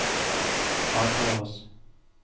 advares